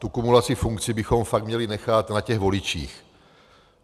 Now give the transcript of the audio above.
Tu kumulaci funkcí bychom fakt měli nechat na těch voličích.